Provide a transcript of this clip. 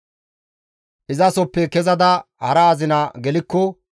Izasoppe kezada hara azina gelikko,